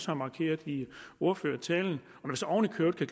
har markeret i ordførertalen og når vi